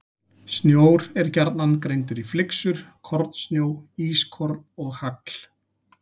Snjór er gjarnan greindur í flyksur, kornsnjó, ískorn og hagl.